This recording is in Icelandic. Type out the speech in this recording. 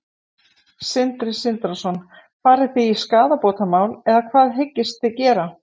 Sindri Sindrason: Farið þið í skaðabótamál eða hvað hyggist þið gera?